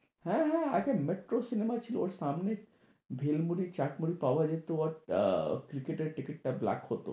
হ্যাঁ হ্যাঁ আচ্ছা মেট্রো cinema ছিল ওর সামনে ভেল মুড়ি চাট মুড়ি পাওয়া যেত। একটা টিকিটটা black হতো।